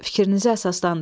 Fikrinizi əsaslandırın.